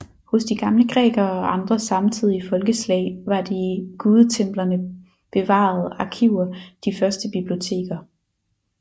Hos de gamle grækere og andre samtidige folkeslag var de i gudetemplerne bevarede arkiver de første biblioteker